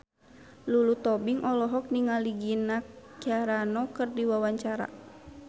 Lulu Tobing olohok ningali Gina Carano keur diwawancara